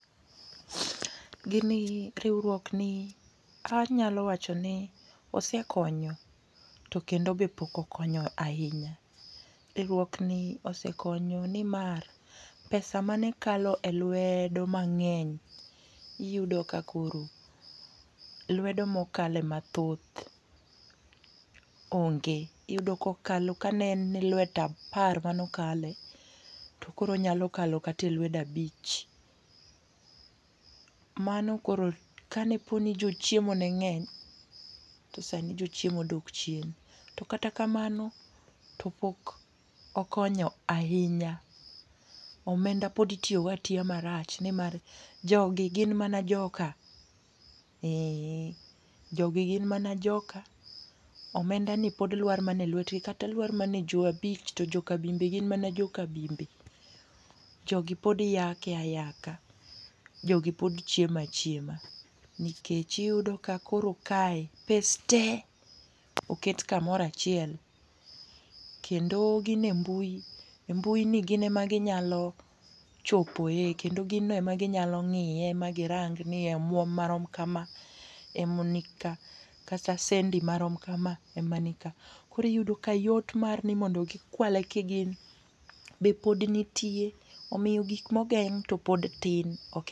Gini riwruok ni anyalo wacho ni nosekonyo to kendo pok okonyo ahinya. Riwruok ni osekonyo ni mar pesa mane kalo e lwedo mangeny iyudo ka koro lwedo ma okale ma thoth onge, iyudo ka ne lwet apar mane okale to koro onyalo kalo kata e lwedo abich. Mano koro ka ne po ni jo chiemo ne ng'eny to sani jo chiemo odok chien. To kata kamano to pok okonyo ahinya, omenda pod itiyo go atiya ma rach ni mar jo gi gin mana joka. Ee jo gi gin mana joka. Omenda ni pod luar mana e lwet gi kata luar mana e jo abich to joka bimbe gin mana joka bimbe koro jo gi pod yako ayaka, jo gi pod chiemo achiema. Nikech iyudo ka koro kae pes te oket kamoro achiel kendo gin e mbui, e mbui ni gin ema gi nyalo chopo e kendo gin no ema gi nyalo ng'iye ma gi rang ni omwom ma rom kama ema ni ka kata sendi ma rom kama ema ni ka koro iyudo ka yot mar ni mondo gi kwale ji gin be pod nitie omiyo gik ma ogeng' to pod tin.